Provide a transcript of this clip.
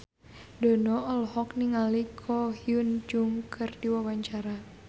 Dono olohok ningali Ko Hyun Jung keur diwawancara